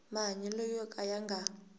mahanyelo yo ka ya nga